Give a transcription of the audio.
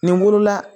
Nin bolola